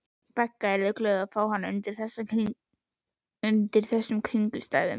Begga yrðu glöð að fá hann undir þessum kringumstæðum.